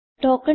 tokens